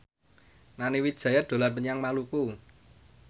Nani Wijaya dolan menyang Maluku